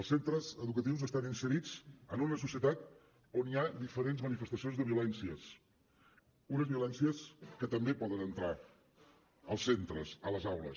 els centres educatius estan inserits en una societat on hi ha diferents manifestacions de violències unes violències que també poden entrar als centres a les aules